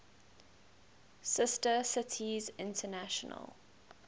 sister cities international